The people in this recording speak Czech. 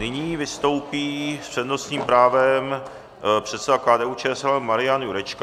Nyní vystoupí s přednostním právem předseda KDU-ČSL Marian Jurečka.